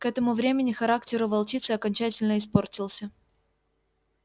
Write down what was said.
к этому времени характер у волчицы окончательно испортился